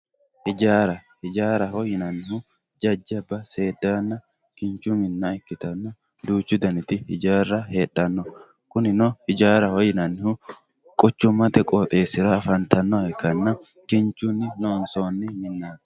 Ijjara, ijjaraho yineemohu jajaba seedanna kinchu minna ikkitanna, duuchu daniti ijjara heedhano, kunino ijjaraho yinnanihu quchumate qooxxesira afantanoha ikkanna kinchunni loonsoonni minnati.